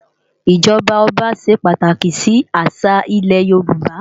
ijọba ọba ṣé pàtáki si àṣá ilè Yoruba